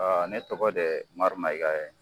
ne tɔgɔ de Umaru Mɛyiga ye